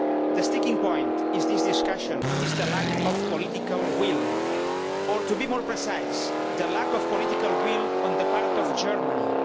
The sticking point in this discussion is the lack of political will or, to be more precise, the lack of political will on the part of Germany.